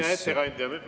Hea ettekandja!